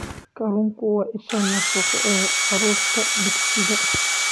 Kalluunku waa isha nafaqo ee carruurta dugsiga.